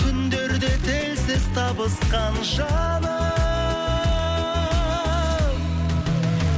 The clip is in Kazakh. түндерде тілсіз табысқан жаным